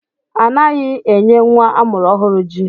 Anaghị enye nwa amụrụ ọhụrụ ji.